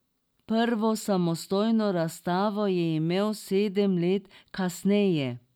Prvo samostojno razstavo je imel sedem let kasneje.